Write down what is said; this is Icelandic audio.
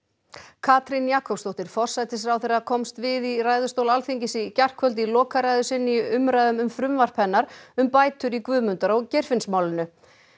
Katrín Jakobsdóttir forsætisráðherra komst við í ræðustól Alþingis í gærkvöld í lokaræðu sinni í umræðum um frumvarp hennar um bætur í Guðmundar og Geirfinnsmálinu